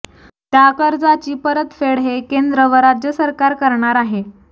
त्या कर्जाची परतफेड हे केंद्र व राज्य सरकार करणार आहे